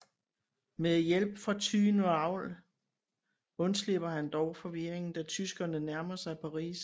Med hjælp fra tyven Raoul undslipper han dog i forvirringen da tyskerne nærmer sig Paris